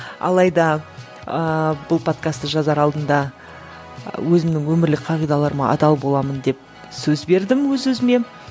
алайда ыыы бұл подкастты жазар алдында өзімнің өмірлік қағидаларыма адал боламын деп сөз бердім өз өзіме